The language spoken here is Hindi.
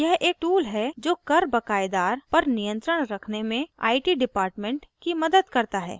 यह एक tool है जो कर बक़ायदार पर नियंत्रण रखने में it dept की मदद करता है